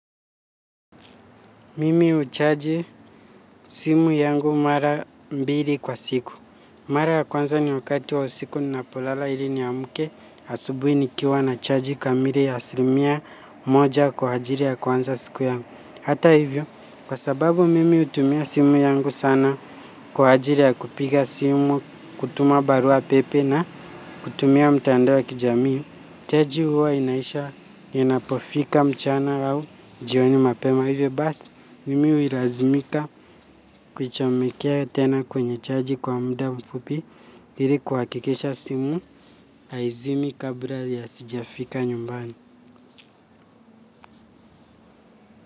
Mimi huchaji simu yangu mara mbili kwa siku. Mara ya kwanza ni wakati wa usiku ninapolala ili ni amke asubuhi nikiwa na chaji kamili ya asilimia moja kwa ajili ya kuanza siku yangu. Hata hivyo, kwa sababu mimi hutumia simu yangu sana kwa ajili ya kupiga simu, kutuma barua pepe na kutumia mitandao ya kijamii, chaji huwa inaisha inapofika mchana au jioni mapema hivyo basi mimi hulazimika kuchomekea tena kwenye chaji kwa muda mfupi ili kuhakikisha simu haizimi kabla ya sijafika nyumbani.